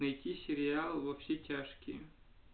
найти сериал во все тяжкие